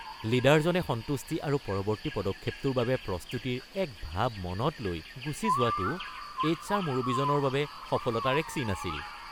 লিডাৰজনে সন্তুষ্টি আৰু পৰৱৰ্তী পদক্ষেপটোৰ পাবে প্ৰস্তুতিৰ এক ভাৱ মনত লৈ গুচি যোৱাটো এইচ.আৰ মুৰব্বীজনৰ বাবে সফলতাৰ এক চিন আছিল।